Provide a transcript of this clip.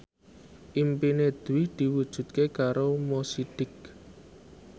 impine Dwi diwujudke karo Mo Sidik